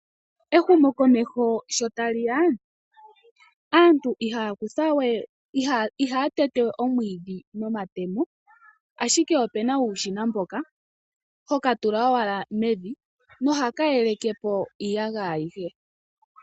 Ehumokomeho sho tali ya, aantu ihaya tete we omwiidhi nomatemo ashike opuna uushona mboka hoka tula owala mevi nohaka yeleke po iiyagaya ayihe.